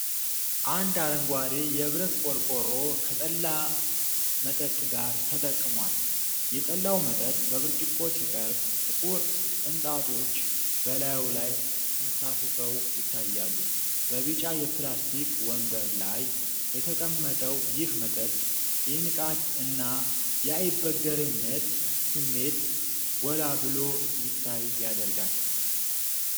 አንድ አረንጓዴ የብረት ቆርቆሮ ከጠላ መጠጥ ጋር ተጠቅሟል። የጠላው መጠጥ በብርጭቆ ሲቀርብ፤ ጥቁር ቅንጣቶች በላዩ ላይ ተንሳፍፈው ይታያሉ። በቢጫ የፕላስትክ ወንበር ላይ የተቀመጠው ይህ መጠጥ፤ የንቃት እና የአይበገሬነት ስሜት ጎላ ብሎ እንዲታይ ያደርጋል።